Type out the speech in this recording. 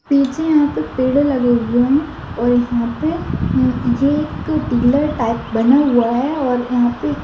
पीछे यहाँ पे पेंड़े लगे हुए है और यहां पे ये एक टिलर टाइप बना हुआ है और यहाँ पे